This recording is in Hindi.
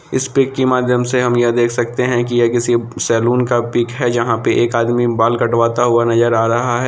इस पिक के माध्यम से हम ये देख सकते है ये किसी सैलून का पिक है जहाँ पे एक आदमी बाल कटवाता हुआ नजर आ रहा है।